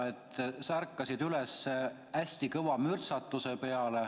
–, et sa ärkasid üles hästi kõva mürtsatuse peale.